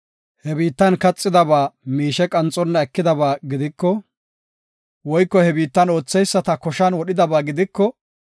he biittan kaxidaba miishe qanxonna ekidaba gidiko, woyko he biitta ootheyisata koshan wodhidaba gidiko,